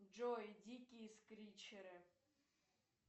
джой дикие скричеры